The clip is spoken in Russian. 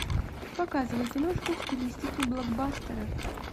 показывай киношку в стилистике блокбастера